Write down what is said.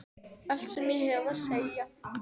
Allt sem ég hef að segja?